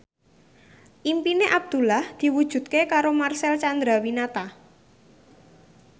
impine Abdullah diwujudke karo Marcel Chandrawinata